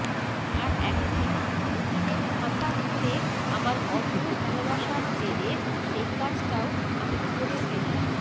আর একদিন অতীনের ফাঁকা ঘরে আমার অন্ধ ভালোবাসার জেরে সেই কাজটাও আমি করে ফেললাম